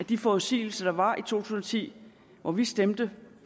de forudsigelser der var i tusind og ti hvor vi stemte